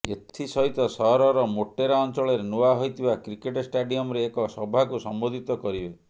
ଏଥିସହିତ ସହରର ମୋଟେରା ଅଞ୍ଚଳରେ ନୂଆ ହୋଇଥିବା କ୍ରିକେଟ ଷ୍ଟାଡିୟମରେ ଏକ ସଭାକୁ ସମ୍ବୋଧିତ କରିବେ